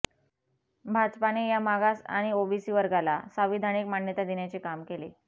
भाजपाने या मागास आणि ओबीसी वर्गाला सांविधानिक मान्यता देण्याचे काम केले